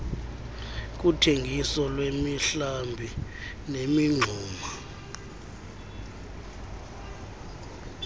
kuthengiso lwemihlambi nemingxuma